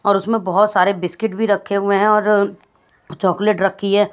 और उसमें बहुत सारे बिस्किट भी रखे हुए हैं और चॉकलेट रखी है।